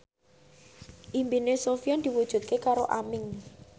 impine Sofyan diwujudke karo Aming